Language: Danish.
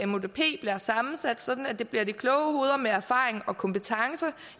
mudp bliver sammensat sådan at det bliver de kloge hoveder med erfaring og kompetence